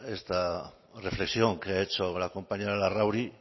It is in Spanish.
esta reflexión que ha hecho la compañera larrauri